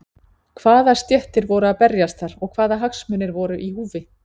Hvaða stéttir voru að berjast þar og hvaða hagsmunir voru í húfi?